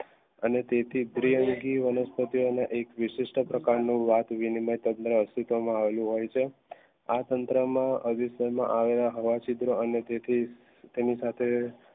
અને તે થી દ્વિઅંગી વનસ્પતિઓ અને એક વીસીસ્સ્થ પ્રકાર નું વાત વિનિમય તંત્ર અસ્તિત્વ માં અવળું હોય છે આ તંત્ર માં હવા સુદ્રા અને તેથી તેની સાથે